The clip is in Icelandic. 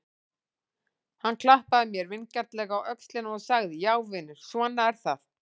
Hann klappaði mér vingjarnlega á öxlina og sagði: Já vinur, svona er það.